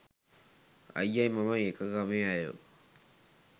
අයියයි මමයි එක ගමේ ඈයෝ